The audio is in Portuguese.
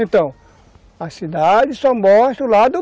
Então, a cidade só mostra o lado